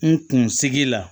N kun sigi la